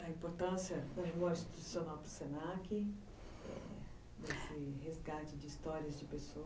Você contava da importância da memória institucional do se na que, desse resgate de histórias de pessoas.